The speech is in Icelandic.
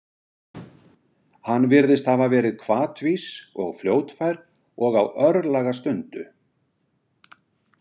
Hann virðist hafa verið hvatvís og fljótfær og á örlagastundu.